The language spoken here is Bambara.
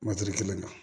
kelen na